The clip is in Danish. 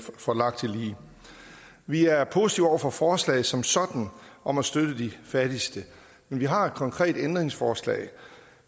lige vi er positive over for forslaget som sådan om at støtte de fattigste men vi har et konkret ændringsforslag